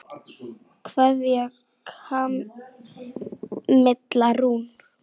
Kveðja, Kamilla Rún.